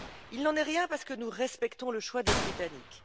Il n'en est rien, parce que nous respectons le choix des Britanniques.